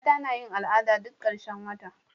mata nayin al'ada duk karshen wata